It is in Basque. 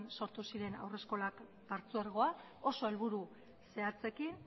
sortu ziren haurreskolak partzuergoa oso helburu zehatzekin